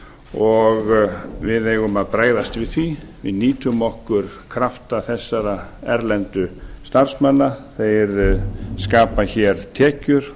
og við eigum að bregðast við því við nýtum okkur krafta þessara erlendu starfsmanna þeir skapa tekjur